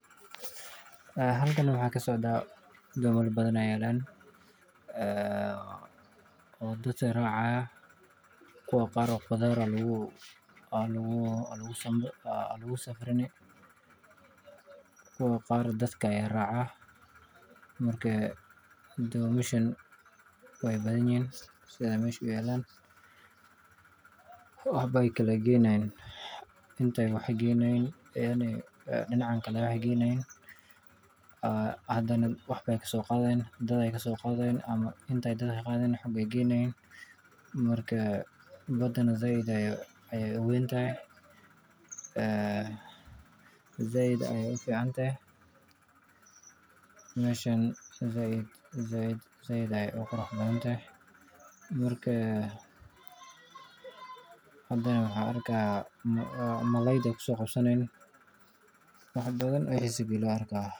Haa halkai waxaa kasocda dabola badan aya yaln dadka aya raca kuwa qar dadka aya raxan duntan wax eye inta kasoqadi dinac kale ayey geyni marna dinacan ayey ka qadhi dinaca kale ayey geyni marka sithas weye hadana malalayda ayey ku qabsani hayan waxee dor muhiim ah samenta siyasaada maliyaded ee waxtarka bangiyaada gar ahan marki ee jiran xaladho dag dag ah.